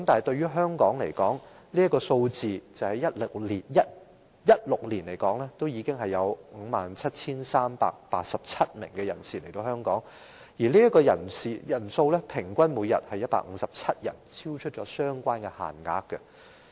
對於香港而言，單是2016年便已有 57,387 名人士經此途徑來港，每天平均157人，超出相關限額。